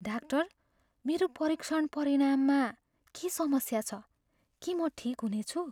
Doctor, मेरो परीक्षण परिणाममा के समस्या छ? के म ठिक हुनेछु?